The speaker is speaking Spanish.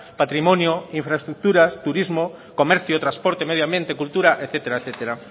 patrimonio infraestructuras turismo comercio transporte medioambiente cultura etcétera etcétera